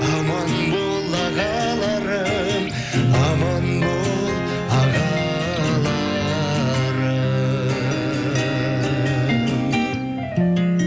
аман бол ағаларым аман бол ағаларым